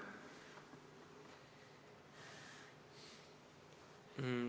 Aitäh!